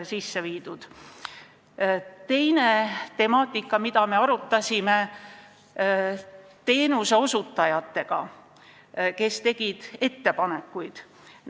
Nüüd teine temaatika, mida me arutasime teenuseosutajatega, kes ettepanekuid tegid.